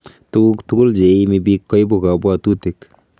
Tukuk tugul cheiimi biik koibu kabwatutik